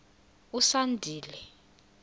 usandile